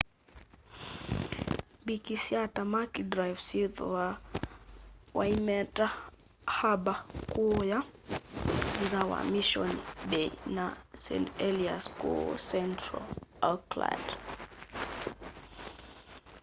mbikyi sya tamaki drive syithwaa waitemata harbour kuuya nza wa mission bay na st heliers kuu central auckland